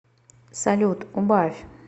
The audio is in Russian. салют убавь